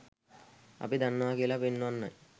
අපි දන්නවා කියලා පෙන්වන්නයි.